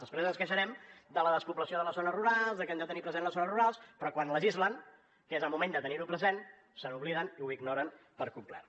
després ens queixarem de la despoblació de les zones rurals de que hem de tenir presents les zones rurals però quan legislen que és el moment de tenir ho present se n’obliden i ho ignoren per complet